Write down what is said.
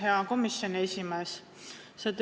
Hea komisjoni esimees!